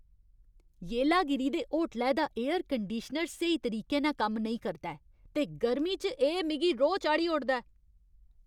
येलागिरी दे होटलै दा एयर कंडीशनर स्हेई तरीके नै कम्म नेईं करदा ऐ ते गर्मी च एह् मिगी रोह् चाढ़ी ओड़दा ऐ।